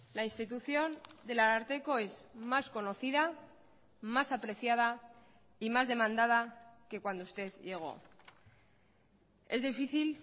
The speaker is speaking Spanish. la institución del ararteko es más conocida más apreciada y más demandada que cuando usted llegó es difícil